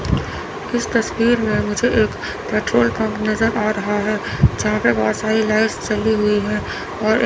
इस तस्वीर में मुझे एक पेट्रोल पंप नजर आ रहा है जहां पे बहोत सारी लाइट्स जली हुईं हैं और--